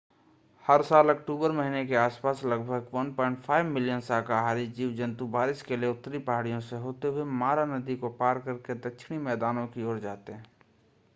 हर साल अक्टूबर महीने के आस-पास लगभग 1.5 मिलियन शाकाहारी जीव-जन्तु बारिश के लिए उत्तरी पहाड़ियों से होते हुए मारा नदी को पार करके दक्षिणी मैदानों की ओर जाते हैं